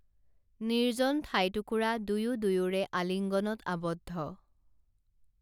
নিৰ্জন ঠাইটুকুৰা দুয়ো দুয়োৰে আলিংগনত আবদ্ধ